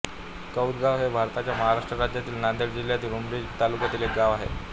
कौदगाव हे भारताच्या महाराष्ट्र राज्यातील नांदेड जिल्ह्यातील उमरी तालुक्यातील एक गाव आहे